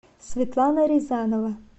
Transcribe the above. светлана рязанова